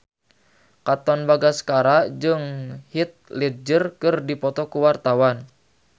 Katon Bagaskara jeung Heath Ledger keur dipoto ku wartawan